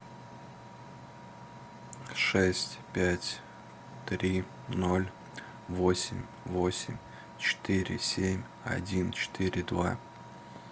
шесть пять три ноль восемь восемь четыре семь один четыре два